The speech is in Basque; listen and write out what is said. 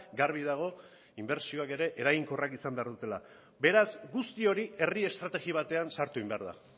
garbi dago inbertsioak ere eraginkorrak izan behar dutela beraz guzti hori herri estrategia batean sartu egin behar da